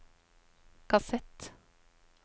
kassett